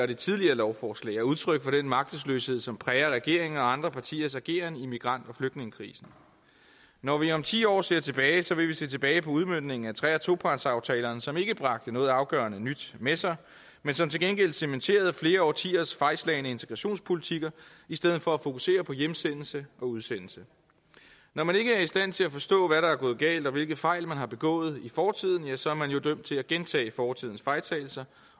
det tidligere lovforslag er udtryk for den magtesløshed som præger regeringen og andre partiers ageren i migrant og flygtningekrisen når vi om ti år ser tilbage vil vi se tilbage på udmøntningen af tre og topartsaftalerne som ikke bragte noget afgørende nyt med sig men som til gengæld cementerede flere årtiers fejlslagne integrationspolitikker i stedet for at fokusere på hjemsendelse og udsendelse når man ikke er i stand til at forstå hvad der er gået galt og hvilke fejl man har begået i fortiden ja så er man jo dømt til at gentage fortidens fejltagelser